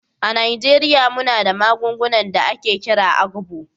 A Najeriya muna da magungunan da ake kira "agbo"